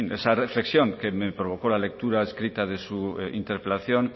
esa reflexión que me provocó la lectura escrita de su interpelación